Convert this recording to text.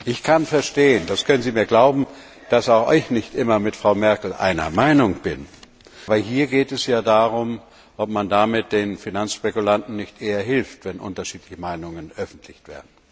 Ich kann das verstehen Sie können mir glauben, dass auch ich nicht immer mit Frau Merkel einer Meinung bin aber hier geht es ja darum, ob man damit den Finanzspekulanten nicht eher hilft, wenn unterschiedliche Meinungen öffentlich werden.